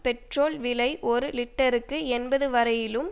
petrol விலை ஒரு லிட்டருக்கு எண்பது வரையிலும்